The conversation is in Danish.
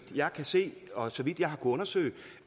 jeg kan se og så vidt jeg har kunnet undersøge